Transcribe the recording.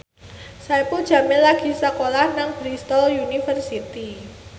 Saipul Jamil lagi sekolah nang Bristol university